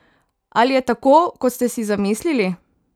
Ali je tako, kot ste si zamislili?